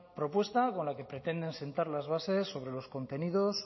propuesta con la que pretenden sentar las bases sobre los contenidos